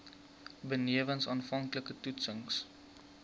benewens aanvanklike toetsings